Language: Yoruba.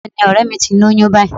Bẹ́ẹ̀ni, ọ̀rẹ́ẹ̀ mi ti lóyún báyìí.